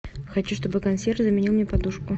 хочу чтобы консьерж заменил мне подушку